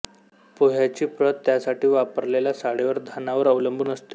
पोह्याची प्रत त्यासाठी वापरलेल्या साळीवर धानावर अवलंबून असते